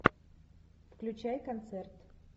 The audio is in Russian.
включай концерт